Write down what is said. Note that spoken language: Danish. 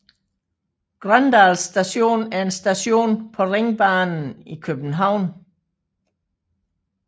Grøndal Station er en station på Ringbanen i København